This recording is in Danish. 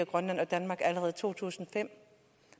grønland og danmark allerede i to tusind og fem